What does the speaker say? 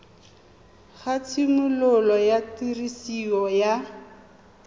ga tshimologo ya tiriso ya